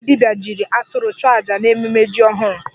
Nwoke dibia ji atụrụ chụọ aja n'ememe ji ọhụrụ.